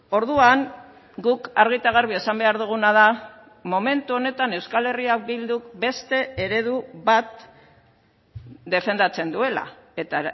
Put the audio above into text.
orduan guk argi eta garbi esan behar duguna da momentu honetan euskal herria bilduk beste eredu bat defendatzen duela eta